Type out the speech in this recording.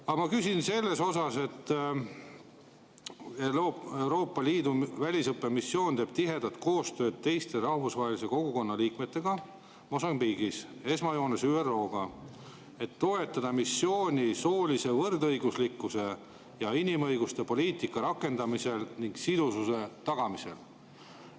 Aga ma küsin selle kohta, et Euroopa Liidu väljaõppemissioon teeb tihedat koostööd teiste rahvusvahelise kogukonna liikmetega Mosambiigis, esmajoones ÜRO‑ga, et toetada missiooni soolise võrdõiguslikkuse ja inimõiguste poliitika rakendamisel ning sidususe tagamisel.